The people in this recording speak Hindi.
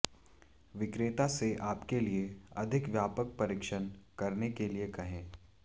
विक्रेता से आपके लिए अधिक व्यापक परीक्षण करने के लिए कहें